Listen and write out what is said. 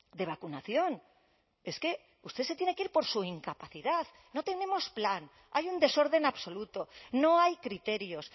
de vacunación es que usted se tiene que ir por su incapacidad no tenemos plan hay un desorden absoluto no hay criterios